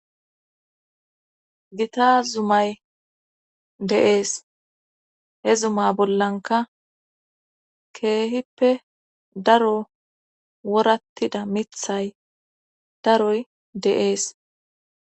gita zumay deees he zuma bollanka keehippe daro worattida mithay daroy deees.